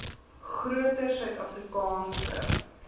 groter suid afrikaanse